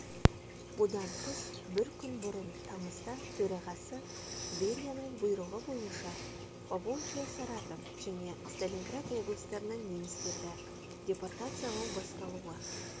бұдан тыс бір күн бұрын тамызда төрағасы берияның бұйрығы бойынша поволжье саратов және сталинград облыстарынан немістерді депортациялау басталуы